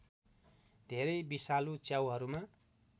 धेरै विषालु च्याउहरूमा